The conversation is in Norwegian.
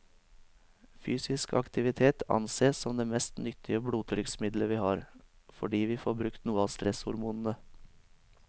Fysisk aktivitet ansees som det mest nyttige blodtrykksmiddelet vi har, fordi vi får brukt noe av stresshormonene.